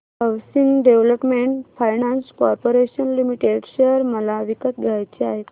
housing development finance corporation limited share मला विकत घ्यायचे आहेत